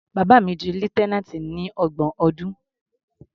Bàbá mi di lieutenant ní ọgbọ̀n ọdún.